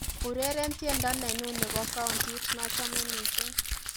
Ureren tiendo nenyu nebo countit nachome mising'